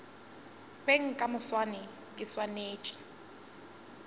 beng ka moswane ke swanetše